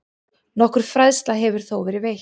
Nokkur fræðsla hefur þó verið veitt.